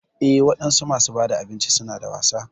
Eh wadansu masu bada abinci suna da wasa.